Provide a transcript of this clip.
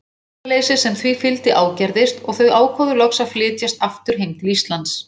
Eirðarleysið sem því fylgdi ágerðist og þau ákváðu loks að flytjast aftur heim til Íslands.